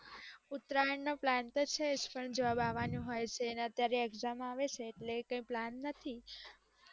ઉતરાયણ નો plan તો છે જ પણ job આવાનું હોઈ છે અને અત્યારે exam આવે છે એટલે કે plan નથી